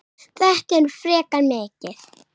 Þetta er frekar mikið.